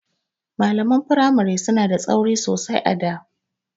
Malaman firamari suna da tsauri sosai a da.